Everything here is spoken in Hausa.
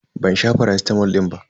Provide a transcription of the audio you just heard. Ban sha faracitamol din ba.